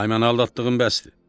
Pay mən aldatdığın bəsdir.